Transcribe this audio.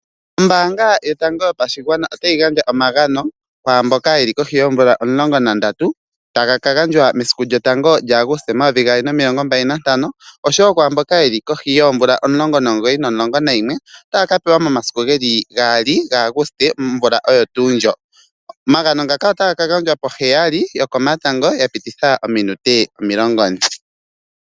Ombaanga yotango yopashigwana otayi gandja omagano kwaamboka yeli kohi yoomvula omu13 momasiku sho taga kakala 1 Aguste 2025 oshowo kwaamboka yeli holi yoomvula 19 no11 otaya kapewa omagano ngano otaga ka gandja po7:40.